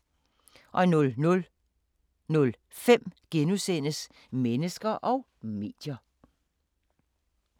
00:05: Mennesker og medier *